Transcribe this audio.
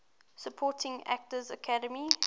supporting actor academy